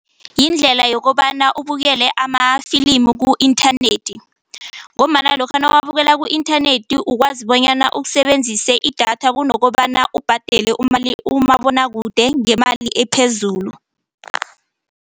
Yindlela yokobana ubukele amafilimu ku-inthanethi ngombana lokha nawuwabukela ku-inthanethi ukwazi bonyana usebenzise idatha kunokobana ubhadele umabonwakude ngemali ephezulu.